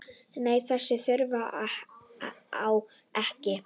Nei, þess þurfti ég ekki.